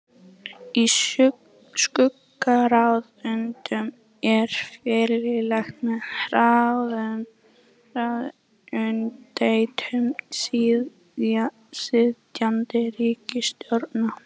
Í skuggaráðuneytum er fylgst með ráðuneytum sitjandi ríkisstjórnar.